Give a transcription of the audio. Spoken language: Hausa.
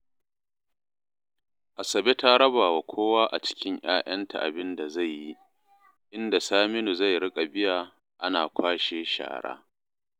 Asabe ta raba wa kowa a cikin 'ya'yanta abin da zai yi, inda Saminu zai riƙa biya ana kwashe shara